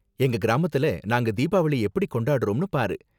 எங்க கிராமத்துல நாங்க தீபாவளிய எப்படி கொண்டாடுறோம்னு பாரு.